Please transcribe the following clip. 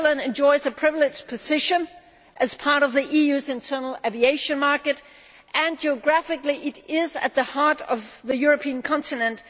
Switzerland enjoys a privileged position as part of the EU's internal aviation market, and geographically it is at the heart of the European continent.